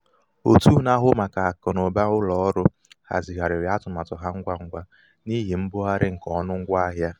òtù na-ahụ màkà akụnaụba ụlọ ọrụ hazigharịrị atụmatụ ha ngwa ngwa n'ihi mbugharị nke ọnụ ngwa ahịa.